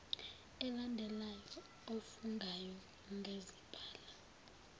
elandelayo ofungayo ngazibhala